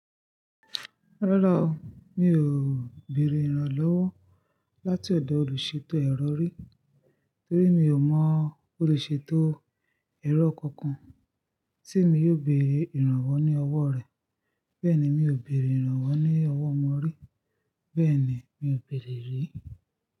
Rárá o, mi ò béèrè ìrànlọ́wọ́ láti ọ̀dọ̀ olùṣètò ẹ̀rọ rí torí mi ò mọ́ bó le ṣe tó ẹ̀rọ kankan tí mi yóò bèèrè ìrànwọ́ ní ọwọ́ rẹ̀. Bẹ́ẹ̀ni mi ò béèrè ìrànwọ́ ní ọwọ́ wọn rí. Bẹ́ẹ̀ni mi ò béèrè rí.